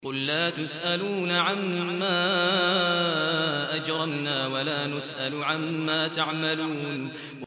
قُل لَّا تُسْأَلُونَ عَمَّا أَجْرَمْنَا وَلَا نُسْأَلُ عَمَّا تَعْمَلُونَ